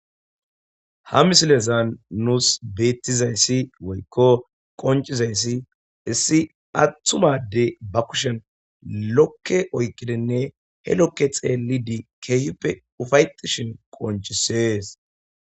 ha misilezan nuus beettizayssi woykko qoncizayssi issi atthumade ba kushen lokke oykkidinne he lokke xeeli di keehuppe ufayexishin qoncisees